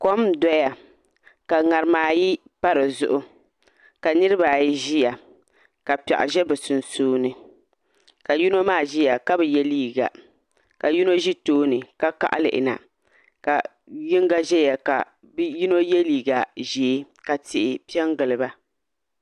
Kom n doya ka ŋarima ayi pa dizuɣu ka niraba ayi ʒiya ka piɛɣu ʒɛ bi sunsuuni ka yino maa ʒiya ka bi yɛ liiga ka yino ʒi tooni ka kaɣa lihina ka yinga ʒɛya ka bi yino yɛ liiga ʒiɛ ka tihi piɛ n giliba